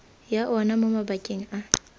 ya ona mo mabakeng a